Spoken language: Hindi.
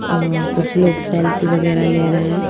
और कुछ लोग सेल्फी वगैरह ले रहे हैं।